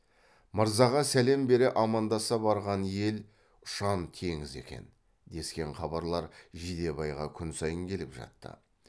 мырзаға сәлем бере амандаса барған ел ұшан теңіз екен дескен хабарлар жидебайға күн сайын келіп жатты